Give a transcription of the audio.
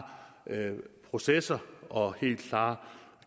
processer og helt klare